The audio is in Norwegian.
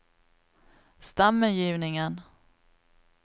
stemmegivningen